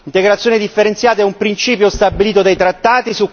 L'integrazione differenziata è un principio stabilito dai trattati.